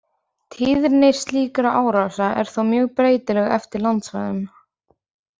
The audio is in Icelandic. Tíðni slíkra árása er þó mjög breytileg eftir landsvæðum.